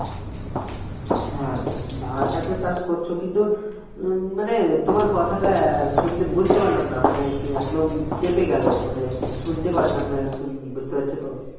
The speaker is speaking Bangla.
হ্যাঁ ধানটা তো চাষ করছো কিন্তু মানে তোমার কথাটা শুনে বুঝতে পারলাম না মানে একদম চেপে গেল মানে শুনতে পারলাম না শুন বুঝতে পারছো তো